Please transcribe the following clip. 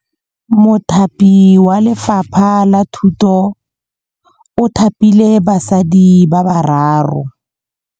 Mothapi wa Lefapha la Thutô o thapile basadi ba ba raro.